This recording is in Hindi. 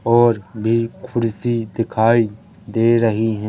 और भी खुर्सी दिखाई दे रही है।